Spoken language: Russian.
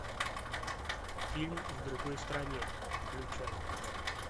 фильм в другой стране включай